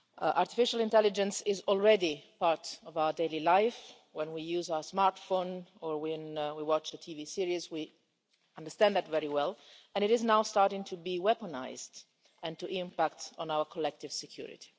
Artificial intelligence is already part of our daily life when we use our smartphone or when we watch a TV series, we understand that very well and it is now starting to be weaponised and to impact on our collective security.